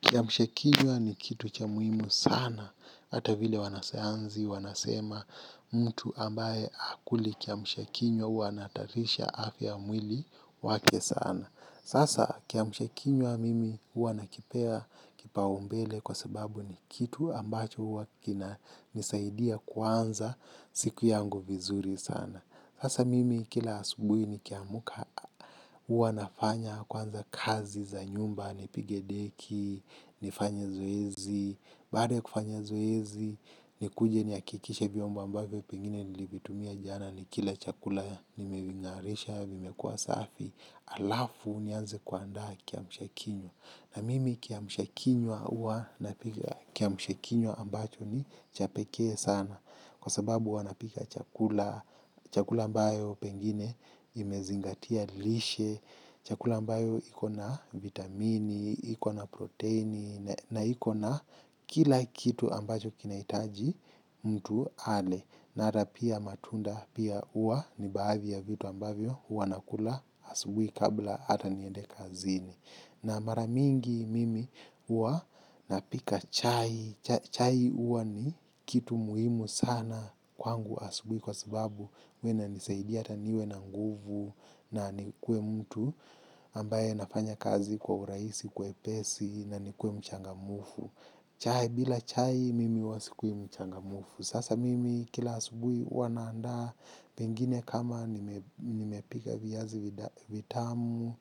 Kiamshakinywa ni kitu cha muhimu sana, hata vile wanasayansi, wanasema mtu ambaye hakuli kiamshakinywa hua anahatarisha afya ya mwili wake sana. Sasa kiamshakinywa mimi huwa nakipea kipaumbele kwa sababu ni kitu ambacho huwa kinanisaidia kuanza siku yangu vizuri sana. Sasa mimi kila asubuhi nikiamka huwa nafanya kwanza kazi za nyumba, nipige deki, nifanye zoezi, baada ya kufanya zoezi, nikuje nihakikishe vyombo ambayo pengine nilivitumia jana nikila chakula nimevingarisha, vimekuwa safi, halafu nianze kuandaa kiamshakinywa. Na mimi kiamsha kinywa ambacho ni cha pekee sana kwa sababu huwa napika chakula mbayo pengine imezingatia lishe, chakula ambayo iko na vitamini, iko na proteini na ikona kila kitu ambacho kinahitaji mtu ale. Na ata pia matunda pia huwa ni baadhi ya vitu ambavyo huwa nakula asubuhi kabla ata niende kazini. Na mara mingi mimi huwa napika chai. Chai huwa ni kitu muhimu sana kwangu asubuhi kwa sababu huwa inanisaidia ata niwe na nguvu na nikuwe mtu. Ambaye anafanya kazi kwa urahisi kwepesi na nikuwe mchangamfu. Chai bila chai mimi huwa sikui mchangamfu. Sasa mimi kila asubuhi huwa naandaa pengine kama nimepika viazi vitamu